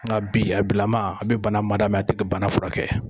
Nka bi a bilama, a bɛ bana mada mɛ a t'a furakɛ.